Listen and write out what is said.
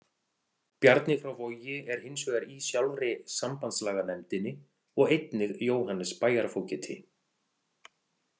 Bjarni frá Vogi er hins vegar í sjálfri sambandslaganefndinni og einnig Jóhannes bæjarfógeti.